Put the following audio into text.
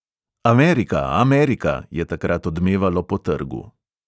Amerika, amerika, je takrat odmevalo po trgu.